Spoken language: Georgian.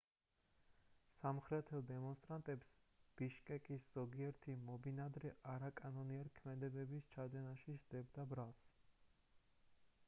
სამხრეთელ დემონსტრანტებს ბიშკეკის ზოგიერთი მობინადრე არაკანონიერი ქმედებების ჩადენაში სდებდა ბრალს